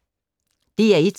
DR1